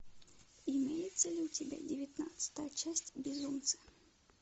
имеется ли у тебя девятнадцатая часть безумца